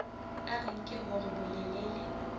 a re nke hore bolelele